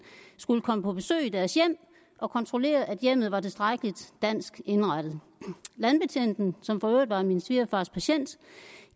skulle komme på besøg i deres hjem og kontrollere at hjemmet var tilstrækkelig dansk indrettet landbetjenten som for øvrigt var min svigerfars patient